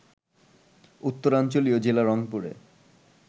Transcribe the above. উত্তরাঞ্চলীয় জেলা রংপুরে